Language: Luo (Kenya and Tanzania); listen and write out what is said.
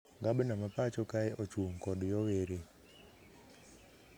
Gabna ma pacho kae ochung kod yowere